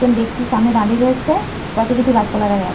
একজন ব্যক্তি সামনে দাঁড়িয়ে রয়েছে পাশে কিছু গাছপালা দেখা যাচ্ছে।